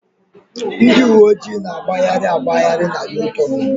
Ndị uwe ojii na-agbagharị agbagharị na U-tornu.